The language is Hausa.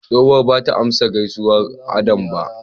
Tsohuwa bata amsa gaisuwar Adam ba.